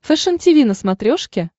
фэшен тиви на смотрешке